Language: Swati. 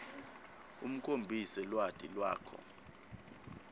ukhombise lwati lwakho